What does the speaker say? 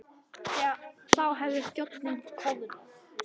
Þá hefði þjóðin koðnað.